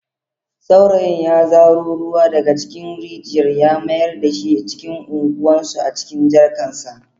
Saurayin ya zaro ruwa daga cikin rijiyar ya mayar da shi cikin unguwarsu a cikin jarkarsa.